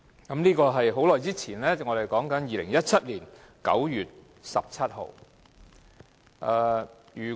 可是，所謂"很久以前"，也不過是指2017年9月17日而已。